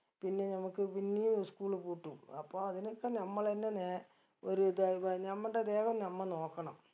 പിന്നെ നമ്മുക്ക് പിന്നിയും school പൂട്ടും അപ്പൊ അതിനൊക്കെ നമ്മളെന്നെ നേ ഒര് ഇത് ഏർ നമ്മണ്ടെ ദേഹം നമ്മ നോക്കണം